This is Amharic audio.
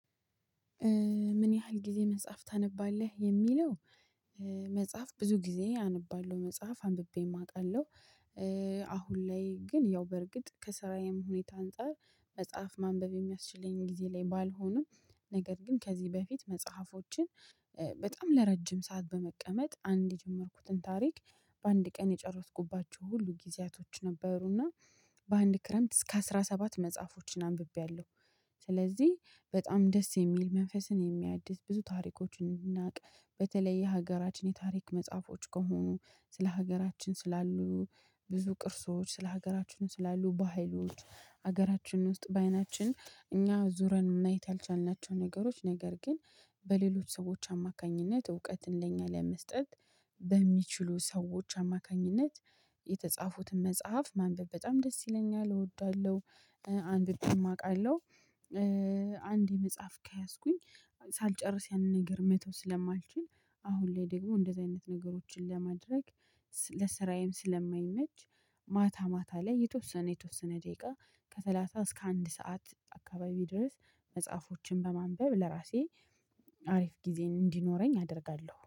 ምን ያህል ጊዜ መጽሐፍ ታነባለህ የሚለው? መጽሐፍ ብዙ ጊዜ ኣነባለው መጽሐፍ አንብቤ አቃለው። አሁን ላይ ግን ያው በርግጥ ከሰራዬም ሁኔታ አንፃር መጽሐፍ ማንበብ የሚያስችለኝን ጊዜ ላይ ባልሆንም ነገር ግን ከዚህ በፊት መጽሐፎችን በጣም ለረጅም ሰዓት በመቀመጥ አንድ የጀመርኩትን ታሪክ በአንድ ቀን የጨረስኩባቸው ሁሉ ጊዜያቶች ነበሩና በአንድ ክረምት እስከ አስራ ሰባት መጽሐፎችን አንብቤያለሁ። ስለዚህ በጣም ደስ የሚል መንፈስን የሚያድስ ብዙ ታሪኮችን እንድናቅ በተለይ የሀገራችን የታሪክ መጽሐፎች ከሆኑ ስለ ሀገራችን ስላሉ ብዙ ቅርሶች ስለ ሀገራችን ስላሉ በሀይሎች ሀገራችን ውስጥ በአይናችን እኛ ዙረን መየት ያልቻልናቸው ነገሮች ነገር ግን በሌሎች ሰዎች አማካኝነት እውቀትን ለእኛ ለመስጠት በሚችሉ ሰዎች አማካኝነት የተጻፉትን መጽሐፍ ማንበብ በጣም ደስ ይለኛል እወዳለሁ። አንድ ደግሞ አውቃለሁ። አንድ የመጽሐፍ ከያዝኩኝ ሳልጨርስ ያንን ነገር መተው ስለማልችል አሁን ላይ ደግሞ እንደዚህ አይነት ነገሮችን ለማድረግ ለስራዬም ስለማይመች። ማታ ማታ ላይ የተወሰነ የተወሰነ ደቂቃ ከሰላሳ እስከ አንድ ሰዓት አካባቢ ድረስ መጽሐፎችን በማንበብ ለራሴ አሪፍ ጊዜ እንዲኖረኝ አደርጋለሁ